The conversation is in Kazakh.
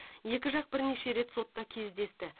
екі жақ бірнеше рет сотта кездесті